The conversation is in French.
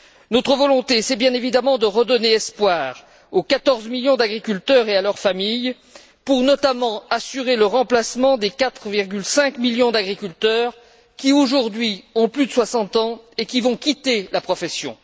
Notre volonté, c'est bien évidemment de redonner espoir aux 14 millions d'agriculteurs et à leurs familles pour, notamment, assurer le remplacement des 4,5 millions d'agriculteurs qui, aujourd'hui, ont plus de 60 ans et qui vont quitter la profession.